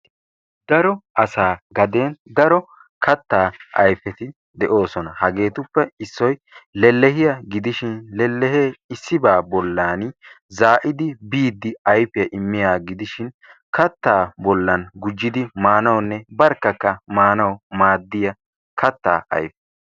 Daro asaa gaden daro kattaa ayfeti de'oosona. Hageetuppe Issoyi lellehiya gidishin lellehee Issibaa bollaani zaa'idi biiddi ayfiya immiyagaa gidishin kattaa bollan gujjidi maanawunne barkkakka maanawu maaddiya kattaa ayfe.